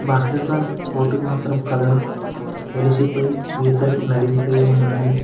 Basket ball కోర్టుకు మాత్రం colour వెలిసిపోయి గీతాలు నలిగిపోయి ఉన్నాయి.